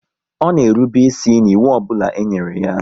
Ọ na erube isi n'ịwụ ọbụla e nyere ya